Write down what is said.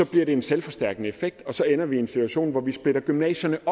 giver det en selvforstærkende effekt og så ender vi i en situation hvor vi splitter gymnasierne